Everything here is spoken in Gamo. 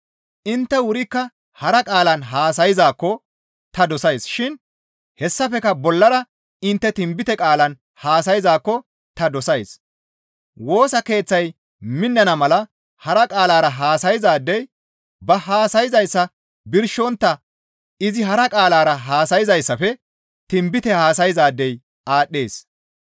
Intte wurikka hara qaalan haasayzaakko ta dosays shin hessafekka bollara intte tinbite qaalan haasayzaakko ta dosays; Woosa keeththay minnana mala hara qaalara haasayzaadey ba haasayzayssa birshontta izi hara qaalara haasayzayssafe tinbite haasayzaadey aadhdhees.